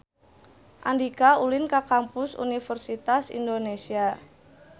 Andika ulin ka Kampus Universitas Indonesia